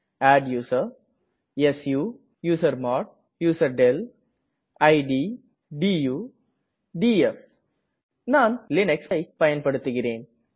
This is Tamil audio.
adduser su usermod userdel it to df நான் லினக்ஸ்ஐ பயன்படுத்துகிறேன்